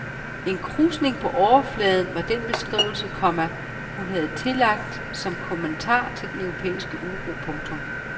En krusning på overfladen var den beskrivelse, komma hun blev tillagt som kommentar til den europæiske uro. punktum